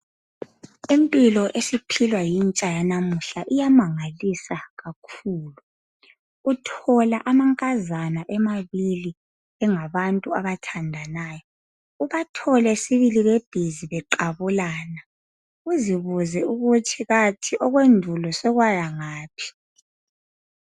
Impilo esiphilwa intsha yanamuhla iyamangalisa kakhulu uthola amankazana emabili engabantu abathandanayo ubathole sibili bebhizi beqabulana uzibuze ukuthi kathi okwendulo sekwaya ngaphi.